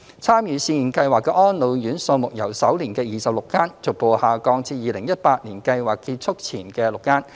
參與試驗計劃的安老院數目由首年的26間，逐步下降至2018年計劃結束前的6間。